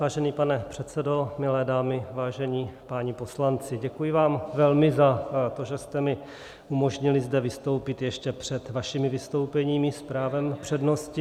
Vážený pane předsedo, milé dámy, vážení páni poslanci, děkuji vám velmi za to, že jste mi umožnili zde vystoupit ještě před vašimi vystoupeními s právem přednosti.